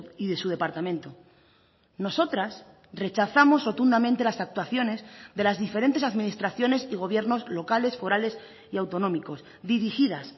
y de su departamento nosotras rechazamos rotundamente las actuaciones de las diferentes administraciones y gobiernos locales forales y autonómicos dirigidas